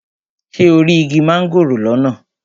Ṣé o rí igi mángòrò lọ́nà?